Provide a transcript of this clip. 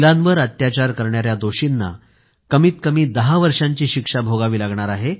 महिलांवर अत्याचार करणाऱ्या दोषींना कमीत कमी 10 वर्षांची शिक्षा भोगावी लागणार आहे